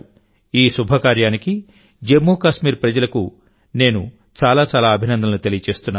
ఈ శుభ కార్యానికి జమ్మూ కాశ్మీర్ ప్రజలకు నేను చాలా చాలా అభినందనలు తెలియజేస్తున్నాను